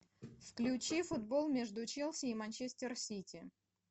включи футбол между челси и манчестер сити